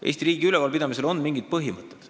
Eesti riigi ülevalpidamisel on mingid põhimõtted.